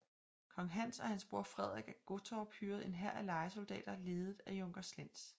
Kong Hans og hans bror Frederik af Gottorp hyrer en hær af lejesoldater ledet af junker Slentz